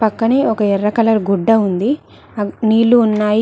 పక్కనే ఒక ఎర్ర కలర్ గుడ్డ ఉంది అగ్ నీళ్ళు ఉన్నాయ్.